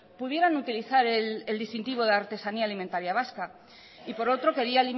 pudieran utilizar el distintivo de artesanía alimentaría vasca y por otro quería